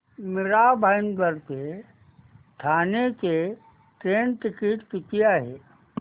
मीरा भाईंदर ते ठाणे चे train ticket किती आहे